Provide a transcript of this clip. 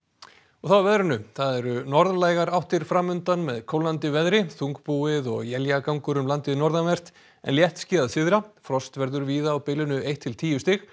þá að veðri það eru norðlægar áttir fram undan með kólnandi veðri þungbúið og éljagangur um landið norðanvert en léttskýjað syðra frost verður víða á bilinu eitt til tíu stig